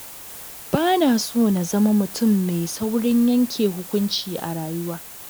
Ba na so na zama mutum mai saurin yanke hukunci a rayuwa.